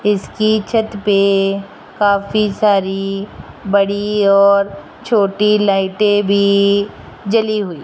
इसकी छत पे काफी सारी बड़ी और छोटी लाइटें भी जली हुई --